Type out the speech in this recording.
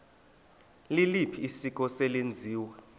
liliphi isiko eselenziwe